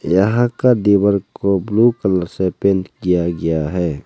यहां का दीवार को ब्लू कलर से पेंट किया गया है।